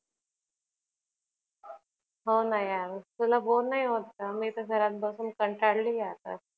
होना ना यार तुला bore नाही होत का? मी तर घरात बसून कंटाळली, आत्ताच